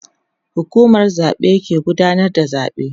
hukumar zaɓe ke gudanar da zaɓe